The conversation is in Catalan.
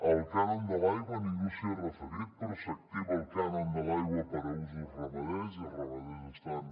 al cànon de l’aigua ningú s’hi ha referit però s’activa el cànon de l’aigua per a usos ramaders i els ramaders estan